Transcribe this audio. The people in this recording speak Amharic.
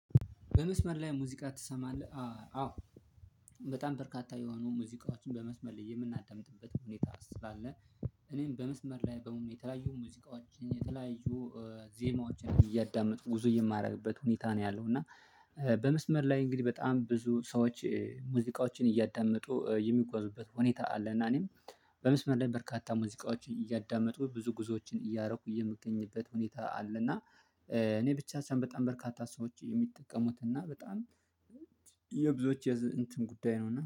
በመስመር ላይ ሙዚቃ ትሰማለህ? አዎ በጣም በርካታ የሆኑ ሙዚቃዎችን በመስመር ላይ የምናዳምጥበት ሁኔታ ስላለ እኔም በመስመር ላይ በመሆን የተለያዩ ሙዚቃዎች የተለያዩ ዜማዎችን እያዳመጥኩ ጉዞ የማደርግበት ሁኔታ ነው ያለው። እና በመስመር ላይ እንግዲህ በጣም ብዙ ሰዎች ሙዚቃዎችን እያዳመጡ የሚጓዙበት ሁኔታ አለና እኔም በመስመር ላይ በርካታ ሙዚቃዎችን እያዳመጥኩ ብዙ ጉዞዎችን እያረኩ የምገኝበት ሁኔታ አለ። እና እኔ ብቻችን በጣም በርካታ ሰዎች የሚጠቀሙት እና በጣም የብዙዎች እንትን ጉዳይ ነው እና